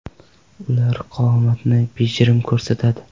Ular qomatni bejirim ko‘rsatadi.